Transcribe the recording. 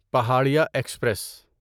Paharia express